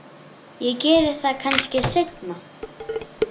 Ég geri það kannski seinna.